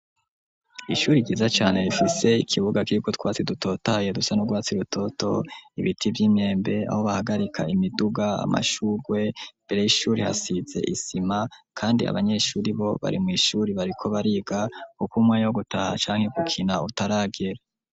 Ishuri ryiza cane rifise ikibuga kiriko utwatsi dutotaye dusa n'urwatsi rutoto, ibiti vy'imyembe, aho bahagarika imiduga, amashurwe, imbere y'ishuri hasize isima kandi abanyeshuri bo bari mw'ishuri bariko bariga kuko umwanya wo gutaha canke gukina utaragera.